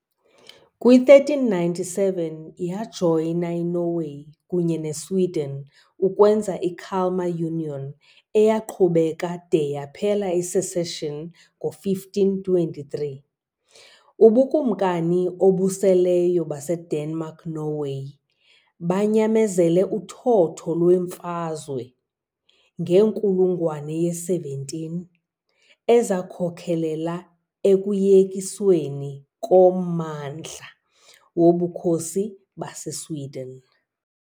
Kwi-1397, yajoyina iNorway kunye neSweden ukwenza i- Kalmar Union, eyaqhubeka de yaphela i-secession ngo-1523. UBukumkani obuseleyo baseDenmark-Norway banyamezele uthotho lweemfazwe ngenkulungwane ye-17 ezakhokelela ekuyekisweni kommandla woBukhosi baseSweden .